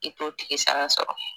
I t'o tigi sara sɔrɔ.